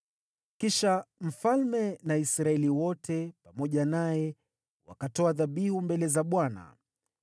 Kisha mfalme na Israeli wote pamoja naye wakatoa dhabihu mbele za Bwana .